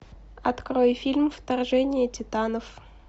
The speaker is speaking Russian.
открой фильм вторжение титанов